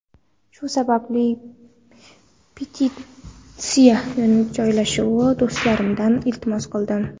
Shu sababli petitsiya joylashni do‘stlarimdan iltimos qildim.